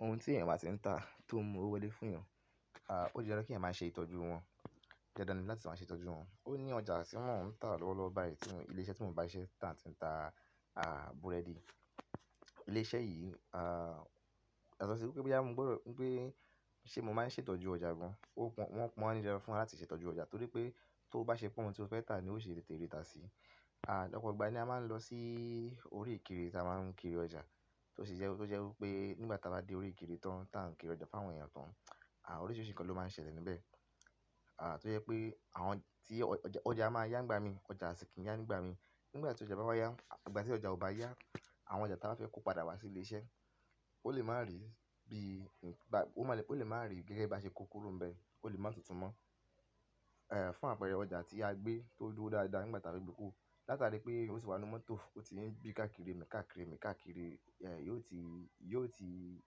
Ohun tí èèyàn báa ti ń tà tó mú owó wọlé fún yàn, à ó di dandan kí èèyàn máa ṣe ìtọ́jú wọn. Dandan ni láti máa ṣe ìtọ́jú wọn. Ó ní ọjà tí mọ́ ń tà lọ́wọ́lọ́wọ́ báyìí ni ilé iṣẹ́ tí mò ń bá iṣẹ́ tà ti ń tà à búrẹ́dì. Ilé iṣẹ́ yìí a yatọ sí wípé boya mo gbọ́dọ̀ wípé ṣe mò máa ń ṣe ìtọ́jú ọjà gan. Ó pọ́n-- wọ́n pọ́n ni dandan fún wa láti ṣe ìtọ́jú ọjà torí pé tó bá ṣe pọ́n ohun tí o fẹ́ tà ni ó ṣe tètè rí ta sí. À ọ́pọ̀ ìgbà ni a máa ń lọ sí orí ìkiri ta máa ń kiri ọjà tó sì jẹ́, tó jẹ́ wípé nígbà táa bá dé orí ìkiri tán táa ń kiri ọjà fún àwọn èèyàn tán, à oríṣìíríṣìí nǹkan ló máa ń ṣẹlẹ̀ níbẹ̀. À tó jẹ́ pé àwọn tí ọjà máa yá nígbà mi, ọjà sì kí ń yá nígbà mi. Nígbà tí ọjà bá wá yá, ìgbà tí ọjà ò bá yá, àwọn ọjà ta ba fẹ́ kó padà wá sí ilé iṣẹ́, ó lè má rí bí n, ó lè máa rí gẹ́gẹ́ bí a ṣe kó kúrò níbẹ̀, ó lè máa túntùn mọ́. È fún àpẹẹrẹ ọjà tí a gbé tó dúró dáadáa nígbà táa fe gbe kuro. Látàrí pé ó ti wà nú mọ́tò, ó ti ń bí káàkiri mi, káàkiri mi, káàkiri, e yóò ti, yóò ti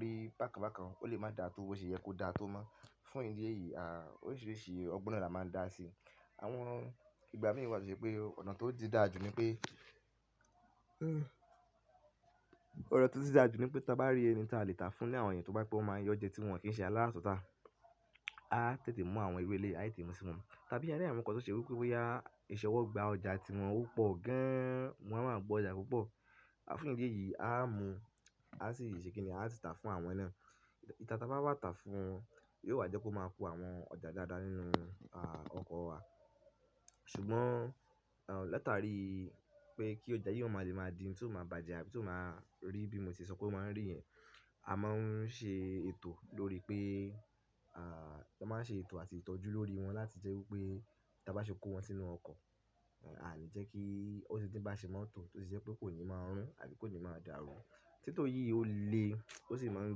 rí bákan bákan, ó lè máa dà tó bó ṣe yẹ kó dà tó mọ́. Fún ìdí èyí, à oríṣìíríṣìí ọgbọ́n na laa máa ń dá sí. Àwọn ìgbà mí wà to se pé ọ̀nà tó ti dáa jù ni pé ọ̀nà tó ti dáa jù ni pé táa bá rí ẹni táa lè tà fún ni àwọn èèyàn tó bá pẹ́, wón máa yọ ọ́ jẹ́ tí wọn kì í ṣe aláratuntá. A tètè mú àwọn iru eleyii, a tètè mú sí wọn. Tàbí a rí àwọn nǹkan tó ṣe wípé bóyá ìṣọwọ́ gba ọjà tí wọn ò pò gan, wọn a máa gbọ́jà púpọ̀. A fún ìdí èyí, a mú, a sì ṣe kìní, a sì tà fún àwọn na. Ngba táa bá wà tà fún wọn yóò wá jẹ́ kó máa ku àwọn ọjà dáadáa nínú a ọkọ̀ wa. Ṣùgbọ́n à látàrí pé kí ọjà yìí ó má lè máa di ohun tí ó máa bàjẹ́ àbí tí ó máa rí bí mo ti sọ pé ó máa ń rí yẹn, a máa ń ṣe ètò lórí pé à a máa ń ṣe ètò àti ìtọ́jú lórí wọn láti jẹ́ wípé táa bá ṣe kó wọn sínú ọkọ̀, àa ní jẹ́ kí ó sì ńi bá ṣe máa n tọ̀, tó sì jẹ́ pé kò ní máa rún àbí kò ní máa dà rú. Tító yìí ó le, ó sì máa ń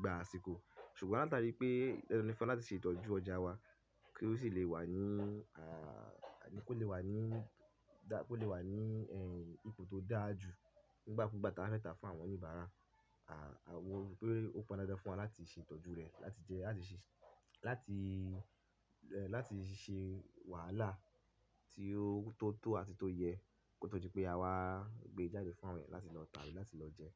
gba àsìkò. Ṣùgbọ́n látàrí pé dandan ni fún wa láti ṣe ìtọ́jú ọjà wa kí ó sì lè wà ní à kó lè wà ní dá-- kó lè wà ní ehn ipò tó dáa jù nígbà kúgbà táa ba fe ta fún àwọn oníbàárà. À wa rí pé ó pọn dandan fún wa láti ṣe ìtọ́jú rẹ̀ láti jẹ́ láti ṣe, láti, eh láti ṣe wàhálà tí ó tó tó àti tó yẹ kótó di pé a wá gbé e jáde fún àwọn èèyàn láti lọ tà á, abi láti lọ jẹ ẹ́.